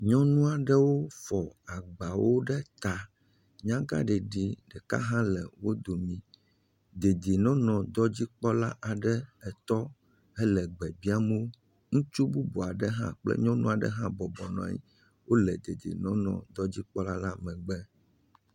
Nyɔnu aɖewo fɔ agbawo ɖe ta. Nyagaɖeɖi ɖeka ɖe hã le wo domi. Dedienɔnɔ dɔdzikpɔla aɖe etɔ, hele gbe biam wo. Ŋutsu bubu aɖe hã kple nyɔnu aɖe hã bɔbɔ nɔ anyi wole dedienɔnɔ dɔdzikpɔla la megbe.